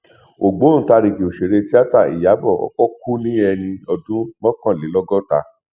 ògbóntàrigì òṣèré tíáta ìyàbọ ọkọ kú ní ẹni ọdún mọkànlélọgọta